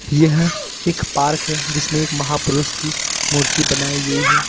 यह एक पार्क है जिसमें एक महापुरुष की मूर्ति बनाई गई है।